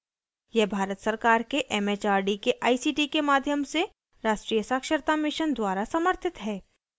यह भारत सरकार के it it आर डी के आई सी टी के माध्यम से राष्ट्रीय साक्षरता mission द्वारा समर्थित है